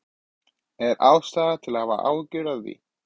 Er ástæða til að hafa áhyggjur af því?